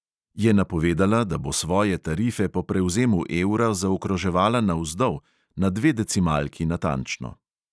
Je napovedala, da bo svoje tarife po prevzemu evra zaokroževala navzdol, na dve decimalki natančno.